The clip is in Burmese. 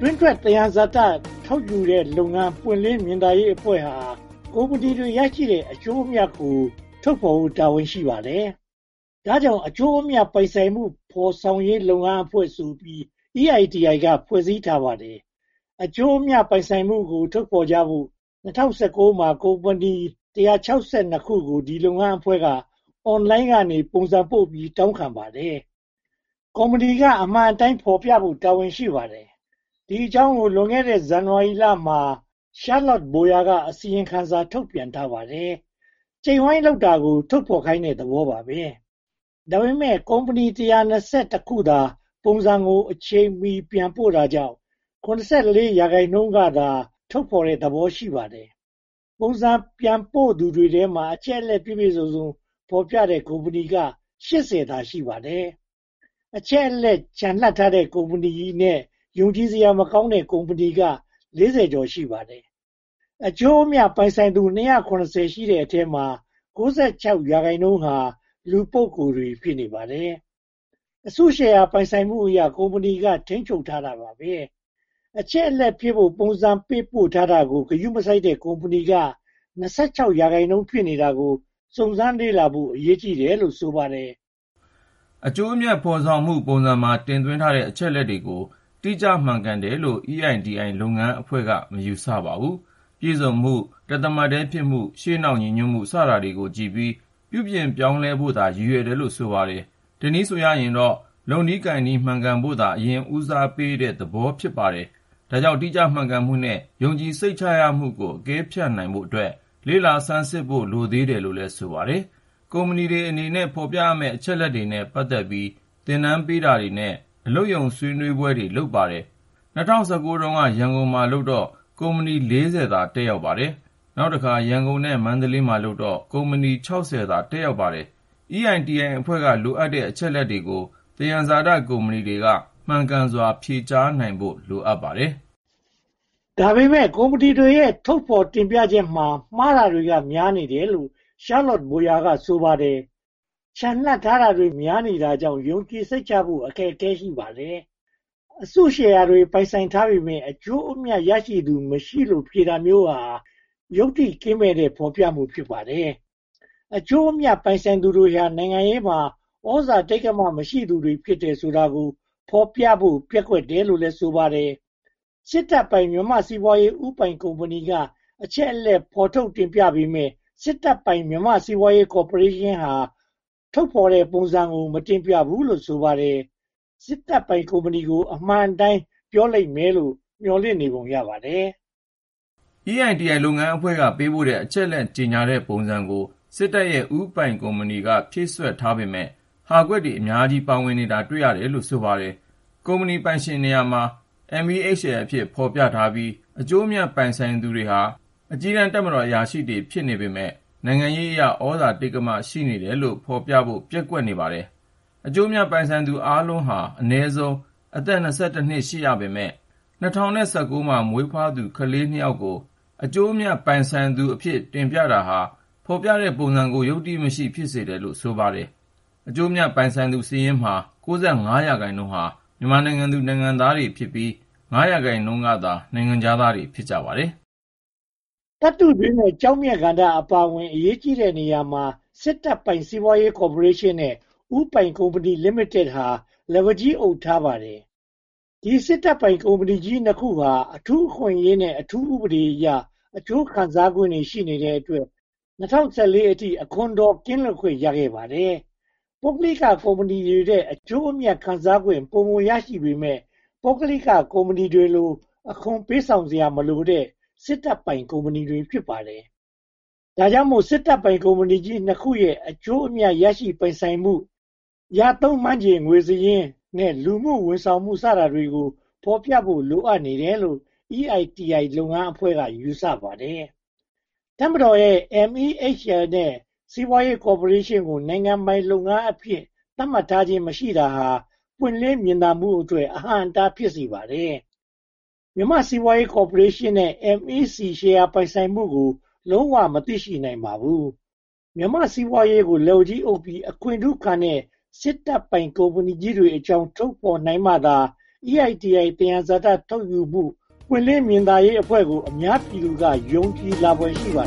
တွင်းထွက်သယံဇာတ ထုတ်ယူတဲ့လုပ်ငန်း ပွင့်လင်းမြင်သာရေးအဖွဲ့ဟာ ကုမ္ပဏီတွေရတဲ့ အကျိုးအမြတ်ကို ထုတ်ဖော်ဖို့ တာဝန်ရှိပါတယ်။ ဒါကြောင့် အကျိုးအမြတ် ပိုင်ဆိုင်မှုဖော်ဆောင်ရေး လုပ်ငန်းအဖွဲ့ဆိုပြီး EITI က ဖွဲ့စည်းထားပါတယ်။ အကျိုးအမြတ် ပိုင်ဆိုင်မှုကို ထုတ်ဖော်ကြဖို့ ၂၀၁၉ မှာ ကုမ္ပဏီ (၁၆၂) ခုကို ဒီလုပ်ငန်းအဖွဲ့က အွန်လိုင်းကနေ ပုံစံပို့ပြီး တောင်းခံခဲ့ပါတယ်။ ကုမ္ပဏီတွေက အမှန်အတိုင်း ဖော်ပြဖို့ တာဝန်ရှိပါတယ်။ ဒီအကြောင်းကို လွန်ခဲ့တဲ့ ဇန်နဝါရီလမှာ Charlotte Boyer က အစီရင်ခံစာ ထုတ်ပြန်ထားပါတယ်။ ကျိတ်ဝိုင်းလုပ်နေတာကို ထုတ်ဖော်ခိုင်းတဲ့ သဘောပါ။ ဒါပေမဲ့ ကုမ္ပဏီ (၁၂၁) ခုသာ ပုံစံကို အချိန်မီ ပြန်ပို့ပေးတာကြောင့် (၇၄) ရာခိုင်နှုန်းကသာ ထုတ်ဖော်တဲ့သဘော ရှိပါတယ်။ ပုံစံပြန်ပို့သူထဲမှာ အချက်အလက် ပြည့်ပြည့်စုံစုံ ဖော်ပြတဲ့ကုမ္ပဏီက (၈၀) သာ ရှိပါတယ်။ အချက်အလက် ချန်လှပ်ထားတဲ့ ကုမ္ပဏီနဲ့ ယုံကြည်စရာမကောင်းတဲ့ ကုမ္ပဏီက (၄၀) ကျော် ရှိပါတယ်။ အကျိုးအမြတ် ပိုင်ဆိုင်သူ (၂၇၀) ရှိတဲ့အထဲမှာ (၉၆) ရာခိုင်နှုန်းဟာ လူပုဂ္ဂိုလ်တွေ ဖြစ်နေပါတယ်။ အစုရှယ်ယာ ပိုင်ဆိုင်မှုအရ ကုမ္ပဏီကို ထိန်းချုပ်ထားပါတယ်။ အချက်အလက်ဖြည့်ဖို့ ပုံစံပို့ပေးထားတာကို ဂရုမစိုက်တဲ့ ကုမ္ပဏီက (၂၆) ရာခိုင်နှုန်း ဖြစ်နေတာကို စုံစမ်းလေ့လာဖို့ အရေးကြီးတယ်လို့ ဆိုပါတယ်။ အကျိုးအမြတ်ဖော်ဆောင်မှု ပုံစံမှာ တင်သွင်းထားတဲ့ အချက်အလက်တွေကို တိကျမှန်ကန်တယ်လို့ EITI လုပ်ငန်းအဖွဲ့က မယူဆပါဘူး။ ပြည့်စုံမှု၊ တသမတ်တည်းဖြစ်မှု၊ ရှေ့နောက်ညီညွတ်မှု စတာတွေကိုကြည့်ပြီး ပြုပြင်ပြောင်းလဲဖို့သာ ရည်ရွယ်တယ်လို့ ဆိုပါတယ်။ တနည်းဆိုရင်တော့ လုပ်နည်းကိုင်နည်း မှန်ကန်ဖို့သာ အရင်ဆုံး ဦးစားပေးတဲ့သဘော ဖြစ်ပါတယ်။ ဒါကြောင့် တိကျမှန်ကန်မှုနဲ့ ယုံကြည်စိတ်ချမှုကို အကဲဖြတ်နိုင်ဖို့အတွက် လေ့လာဆန်းစစ်ဖို့ လိုသေးတယ်လို့ ဆိုပါတယ်။ ကုမ္ပဏီတွေအနေနဲ့ ဖော်ပြရမယ့် အချက်အလက်တွေနဲ့ ပတ်သက်ပြီး သင်တန်းပေးတာတွေနဲ့ အလုပ်ရုံဆွေးနွေးပွဲတွေ လုပ်ပါတယ်။ ၂၀၁၉ က ရန်ကုန်မှာလုပ်တော့ ကုမ္ပဏီ (၄၀) သာ တက်ပါတယ်။ နောက်တခါ ရန်ကုန်နဲ့ မန္တလေးမှာလုပ်တော့ ကုမ္ပဏီ (၆၀) သာ တက်ရောက်ပါတယ်။ EITI အဖွဲ့က လိုအပ်တဲ့ အချက်အလက်တွေကို သယံဇာတကုမ္ပဏီတွေက မှန်ကန်စွာ ဖြေကြားနိုင်ဖို့ လိုအပ်ပါတယ်။ ဒါပေမဲ့ ကုမ္ပဏီတွေရဲ့ ထုတ်ဖော်တင်ပြချက်တွေမှာ မှားတာကများနေတယ်လို့ Charlotte Boyer က ဆိုပါတယ်။ ချန်လှပ်ထားတာတွေ များနေတာကြောင့် ယုံကြည်စိတ်ချနိုင်ဖို့ အခက်အခဲ ရှိပါတယ်။ အစုရှယ်ယာတွေ ပိုင်ဆိုင်ထားပေမယ့် အကျိုးအမြတ် ရရှိသူမရှိလို့ ဖြေတာမျိုးဟာ ယုတ္တိကင်းမဲ့တဲ့ ဖော်ပြမှု ဖြစ်ပါတယ်။ အကျိုးအမြတ် ပိုင်ဆိုင်သူတွေဟာ နိုင်ငံရေးမှာ သြဇာတိက္ကမ ရှိသူတွေ ဖြစ်တယ်ဆိုတာကို ဖော်ပြဖို့ ပျက်ကွက်လို့လည်း ဆိုပါတယ်။ စစ်တပ်ပိုင် မြန်မာ့စီးပွားရေး ဦးပိုင်ကုမ္ပဏီက အချက်အလက် ထုတ်ဖော်တင်ပြပေမယ့် စစ်တပ်ပိုင် မြန်မာ့စီးပွားရေးကော်ပိုရေးရှင်းဟာ ထုတ်ဖော်တဲ့ ပုံစံကို မတင်ပြဘူးလို့ ဆိုပါတယ်။ စစ်တပ်ပိုင်ကုမ္ပဏီကို အမှန်အတိုင်း ပြောလိမ့်မယ်လို့ မျှော်လင့်နေပုံရပါတယ်။ EITI လုပ်ငန်းအဖွဲ့က ပေးပို့တဲ့ အချက်အလက် ကြေညာတဲ့ပုံစံကို စစ်တပ်ရဲ့ ဦးပိုင်ကုမ္ပဏီက ဖြည့်စွက်ထားပေမယ့် ဟာကွက်တွေ အများကြီး ပါဝင်နေတာ တွေ့ရတယ်လို့ ဆိုပါတယ်။ ကုမ္ပဏီပိုင်ရှင်ကို MEHL အဖြစ် ဖော်ပြထားပြီး အကျိုးအမြတ် ပိုင်ဆိုင်သူတွေဟာ အကြီးတန်း တပ်မတော်အရာရှိတွေ ဖြစ်နေပေမယ့် နိုင်ငံရေးအရ သြဇာတိက္ကမ ရှိတယ်လို့ ဖော်ပြဖို့ ပျက်ကွက်နေပါတယ်။ အကျိုးအမြတ် ပိုင်ဆိုင်သူအားလုံးဟာ အနည်းဆုံး အသက် (၂၁) နှစ် ရှိကြပေမယ့် ၂၀၁၉ မှာ မွေးဖွားသူကလေး (၂) ယောက် အကျိုးအမြတ်ကိုလည်း ပိုင်ဆိုင်သူအဖြစ် တင်ပြထားတာဟာ ဖော်ပြတဲ့ပုံစံကို ယုတ္တိမရှိ ဖြစ်စေတယ်လို့ ဆိုပါတယ်။ အကျိုးအမြတ် ပိုင်ဆိုင်သူစာရင်းမှာ (၉၅) ရာခိုင်နှုန်းဟာ မြန်မာနိုင်ငံသူ၊ နိုင်ငံသားတွေ ဖြစ်ကြပြီး (၅) ရာခိုင်နှုန်းကသာ နိုင်ငံခြားသားတွေ ဖြစ်ကြပါတယ်။ သတ္တုတွင်းနဲ့ ကျောက်မျက်ကဏ္ဍအပါအဝင် အရေးကြီးတဲ့နေရာတွေမှာ စစ်တပ်ပိုင် စီးပွားရေးကော်ပိုရေးရှင်းနဲ့ ဦးပိုင်ကုမ္ပဏီလိမိတတ်ဟာ လက်ဝါးကြီး အုပ်ထားပါတယ်။ ဒီစစ်တပ်ပိုင်ကုမ္ပဏီကြီး (၂) ခုဟာ အထူးအခွင့်အရေးနဲ့ အထူးဥပဒေအရ အကျိုးခံစားခွင့်တွေ ရှိတဲ့အတွက် ၂၀၁၄ ခုနှစ်အထိ အခွန်တော် ကင်းလွတ်ခွင့် ရခဲ့ပါတယ်။ ပုဂ္ဂလိကကုမ္ပဏီတွေထက် အကျိုးအမြတ် ခံစားခွင့် ပိုမိုရရှိပေမယ့် ပုဂ္ဂလိက ကုမ္ပဏီတွေကို အခွန်ပေးဆောင်စရာမလိုတဲ့ စစ်တပ်ပိုင်ကုမ္ပဏီတွေ ဖြစ်ပါတယ်။ ဒါကြောင့်မို့ စစ်တပ်ပိုင်ကုမ္ပဏီကြီး (၂) ခုရဲ့ အကျိုးအမြတ် ရရှိပိုင်ဆိုင်မှု၊ ရသုံးမှန်းခြေငွေစာရင်းနဲ့ လူမှုဝန်ဆောင်မှု စတာတွေကို ဖော်ပြဖို့ လိုအပ်နေတယ်လို့ EITI လုပ်ငန်းအဖွဲ့က ယူဆပါတယ်။ တပ်မတော်ရဲ့ MEHL နဲ့ စီးပွားရေးကော်ပိုရေးရှင်းကို နိုင်ငံပိုင်လုပ်ငန်းအဖြစ် သတ်မှတ်ထားခြင်း မရှိတာဟာလည်း ပွင့်လင်းမြင်သာရေးအတွက် အဟန့်အတား ဖြစ်ပါတယ်။ မြန်မာ့စီးပွားရေးကော်ပိုရေးရှင်း MEC ရဲ့ ရှယ်ယာပိုင်ဆိုင်မှုကို လုံးဝမသိရှိနိုင်ပါဘူး။ မြန်မာ့စီးပွားရေးကို လက်ဝါးကြီးအုပ်ပြီး အခွင့်ထူးခံတဲ့ စစ်တပ်ပိုင်ကုမ္ပဏီတွေအကြောင်း ထုတ်ဖော်နိုင်မှသာ EITI သယံဇာတ ထုတ်ယူမှု ပွင့်လင်းမြင်သာရေးအဖွဲ့ကို အများပြည်သူက ယုံကြည်လာဖွယ် ရှိပါ